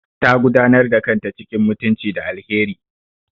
Ta gudanar da kanta cikin mutunci da alheri.